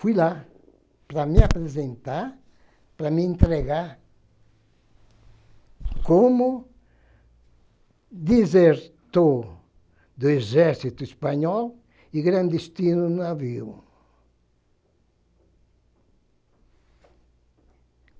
Fui lá para me apresentar, para me entregar como desertor do Exército Espanhol e clandestino no navio.